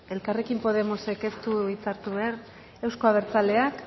elkarrekin podemosek ez du hitza hartu behar euzko abertzaleak